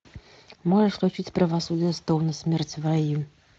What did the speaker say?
можешь включить правосудие стоуна смерть в раю